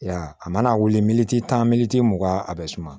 I y'a ye a mana wili miniti tan mugan a bɛ suma